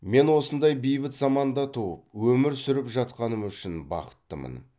мен осындай бейбіт заманда туып өмір сүріп жатқаным үшін бақыттымын